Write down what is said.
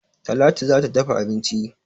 Talatu za ta dafa abinci